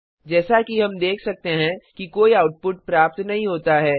जैसा कि हम देख सकते हैं कि कोई आउटपुट प्राप्त नहीं होता है